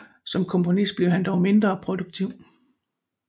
Som komponist blev han dog mindre produktiv